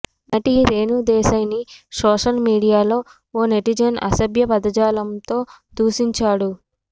నటి రేణుదేశాయ్ ని సోషల్ మీడియాలో ఓ నెటిజన్ అసభ్యపదజాలంతో దూషించాడు